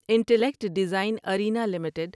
intellect design arena limited